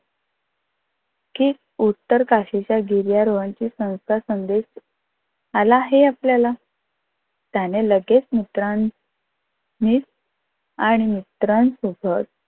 कि उत्तरकाशीच्या गिर्यारोहणचा संस्था संदेश आला आहे आपल्याला त्याने लगेच मित्रा नि आणि मित्रांन सोबत